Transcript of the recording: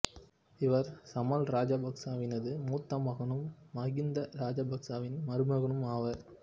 இவர் சமல் ராஜபக்சவினது மூத்த மகனும் மகிந்த ராசபக்சவின் மருமகனும் ஆவார்